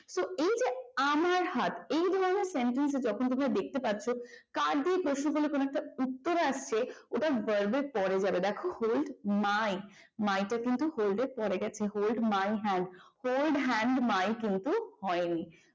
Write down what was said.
কোন sentence এ যখন তোমরা কার দিয়ে প্রশ্ন করলে ওটা verb এর পরে যাবে দেখো hold my my তা কিন্তু hold এরপরে গেছে hold my hand my কিন্তু হয়নি।